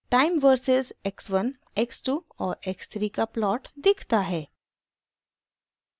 time versus x 1 x 2 और x 3 का plot दिखता है